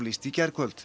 í gærkvöld